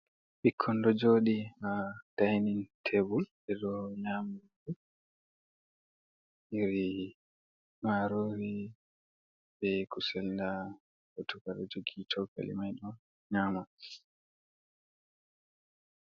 Ɓikkon ɗo jodi ha dainin tebul, ɓe ɗo nyam nyiri marori, be kusel nda goto ɗo jogi chokali mai on nyama.